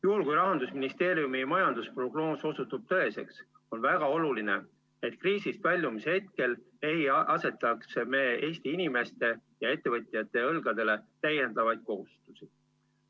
Juhul kui Rahandusministeeriumi majandusprognoos osutub tõeseks, on väga oluline, et kriisist väljumise hetkel ei asetaks me Eesti inimeste ja ettevõtjate õlgadele täiendavaid kohustusi.